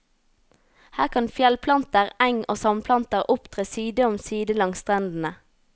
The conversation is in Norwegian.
Her kan fjellplanter, eng og sandplanter opptre side om side langs strendene.